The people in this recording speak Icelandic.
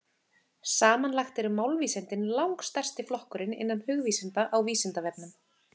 Samanlagt eru málvísindin langstærsti flokkurinn innan hugvísinda á Vísindavefnum.